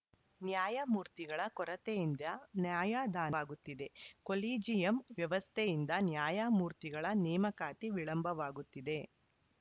ನ್ಯಾಯಮೂರ್ತಿಗಳ ಕೊರೆತೆಯಿಂದ ನ್ಯಾಯದಾವಾಗುತ್ತಿದೆ ಕೊಲಿಜಿಯಂ ವ್ಯವಸ್ಥೆಯಿಂದ ನ್ಯಾಯಮೂರ್ತಿಗಳ ನೇಮಕಾತಿ ವಿಳಂಬವಾಗುತ್ತಿದೆ